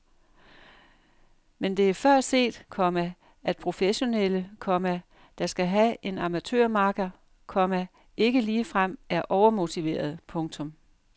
Men det er før set, komma at professionelle, komma der skal have en amatørmakker, komma ikke ligefrem er overmotiverede. punktum